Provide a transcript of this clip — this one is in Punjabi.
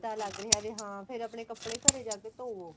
ਲੱਗ ਰਿਹਾ ਵੀ ਹਾਂ ਫੇਰ ਆਪਣੇ ਕਪੜੇ ਘਰੇ ਜਾ ਕੇ ਧੋਵੋ